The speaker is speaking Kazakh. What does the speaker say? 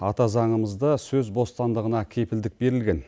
ата заңымызда сөз бостандығына кепілдік берілген